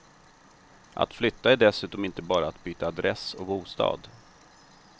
Att flytta är dessutom inte bara att byta adress och bostad.